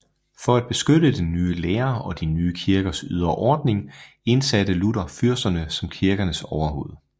For at beskytte den nye lære og de nye kirkers ydre ordning indsatte Luther fyrsterne som kirkernes overhoved